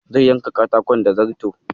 Zai yanka katakon da zarto.